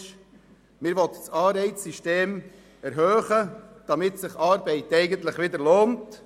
Man will das Anreizsystem erhöhen, damit sich Arbeit wieder lohnt.